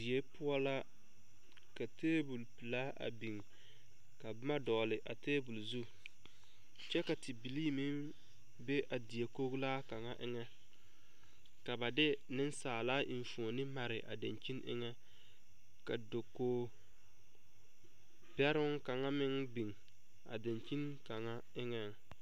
Die poɔ la ka tabol pilaa a biŋ ka boma dɔgle a tabol zu kyɛ ka tebilee me be a die koglaa kaŋ eŋɛ ka ba de niŋsaala eŋfupni mare a daŋkyine eŋɛ ka dakoge bɛroŋ kaŋa meŋ biŋ a daŋkyine kaŋa eŋɛŋ.